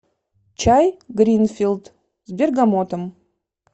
чай гринфилд с бергамотом